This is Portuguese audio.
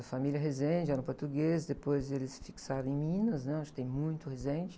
A família Rezende era portuguesa, depois eles se fixaram em Minas, né? Onde tem muito Rezende.